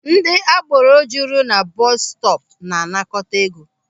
Ndị agboro juru na bọọsụ stọọpụ na-anakọta ego.